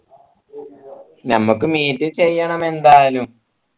ഞമ്മക്ക് meet ചെയ്യണം എന്തായാലും